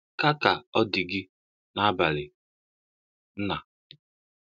Ka Ka ọ dị gị n’abalị, Nna